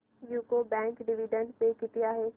UCO bank dividend pay किती आहे